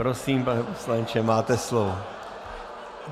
Prosím, pane poslanče, máte slovo.